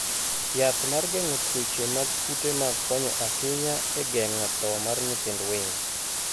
Yath mar geng'o tuoche mag kute mag konyo ahinya e geng'o tho mar nyithind winy.